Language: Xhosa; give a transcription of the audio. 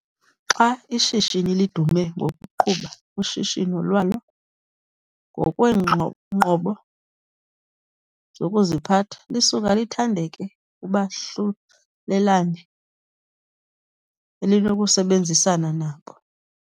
Xa ishishini lidume ngokuqhuba ushishino lwalo ngokweenqobo zokuziphatha, lisuka lithandeke kubahlulelane elinokusebenzisana nabo.